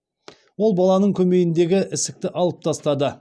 ол баланың көмейіндегі ісікті алып тастады